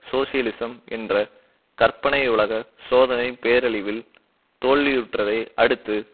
socialism என்ற கற்பனையுலக சோதனை பேரழிவில் தோல்வியுற்றதை அடுத்து